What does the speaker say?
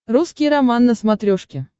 русский роман на смотрешке